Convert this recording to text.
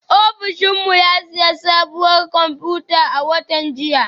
Ofishin mu ya sayi sabuwar kwamfuta a watan jiya